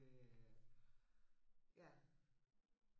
ja